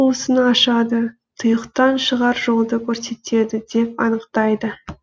осыны ашады тұйықтан шығар жолды көрсетеді деп анықтайды